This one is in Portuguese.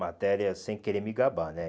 Matéria sem querer me gabar, né?